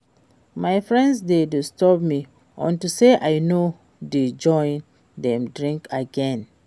My friends dey disturb me unto say I no dey join dem drink again